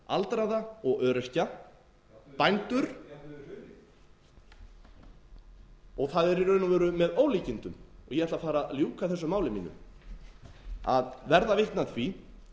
aldraða og öryrkja bændur og það er í raun og veru með ólíkindum og ég ætla að fara að ljúka þessumáli mínu að verða vitni að því